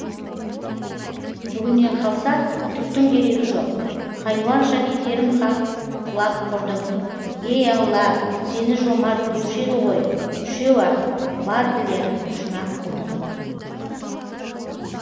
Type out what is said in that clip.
бүгіннен қалса түктің керегі жоқ хайуанша кетерім хақ құлап құрдым ей алла сені жомарт деуші еді ғой үшеу ақ бар тілері шұнақ құлдың